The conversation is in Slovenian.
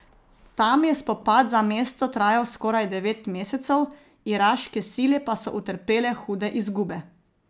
Tam je spopad za mesto trajal skoraj devet mesecev, iraške sile pa so utrpele hude izgube.